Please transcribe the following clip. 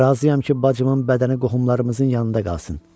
Razıyam ki, bacımın bədəni qohumlarımızın yanında qalsın.